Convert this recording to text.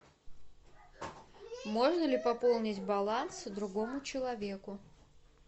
можно ли пополнить баланс другому человеку